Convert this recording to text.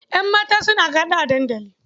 Ƴan mata suna gaɗa a dandali.